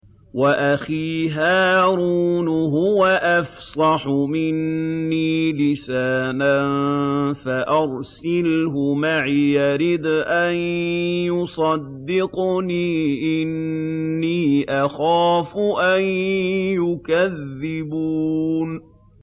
وَأَخِي هَارُونُ هُوَ أَفْصَحُ مِنِّي لِسَانًا فَأَرْسِلْهُ مَعِيَ رِدْءًا يُصَدِّقُنِي ۖ إِنِّي أَخَافُ أَن يُكَذِّبُونِ